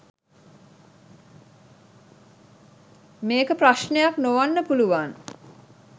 මේක ප්‍රශ්නයක් නොවන්න පුළුවන්